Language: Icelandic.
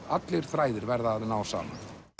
allir þræðir verða að ná saman